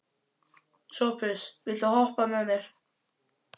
Sophus, viltu hoppa með mér?